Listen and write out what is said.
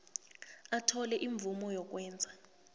athole imvumo yokwenza